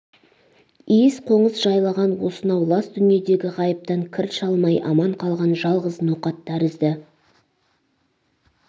иіс-қоңыс жайлаған осынау лас дүниедгі ғайыптан кір шалмай аман қалған жалғыз ноқат тәрізді